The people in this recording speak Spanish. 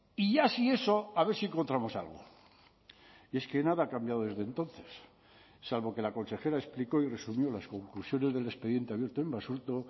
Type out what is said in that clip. y ya si eso a ver si encontramos algo y es que nada ha cambiado desde entonces salvo que la consejera explicó y resumió las conclusiones del expediente abierto en basurto